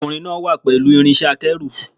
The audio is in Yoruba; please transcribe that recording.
Ọkùnrin náà wà pẹ̀lú irinṣẹ́-akẹ́rù.